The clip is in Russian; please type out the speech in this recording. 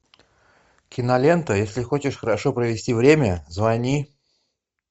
кинолента если хочешь хорошо провести время звони